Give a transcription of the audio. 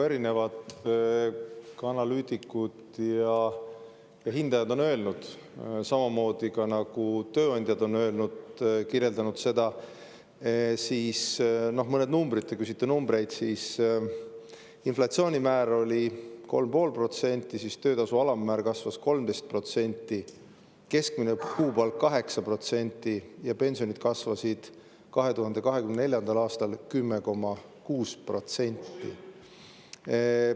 Erinevad analüütikud ja hindajad on öelnud, ka tööandjad on öelnud, kirjeldanud – mõned numbrid, te küsite numbreid –, et inflatsioonimäär oli 3,5%, töötasu alammäär kasvas 13%, keskmine kuupalk 8% ja pensionid kasvasid 2024. aastal 10,6%.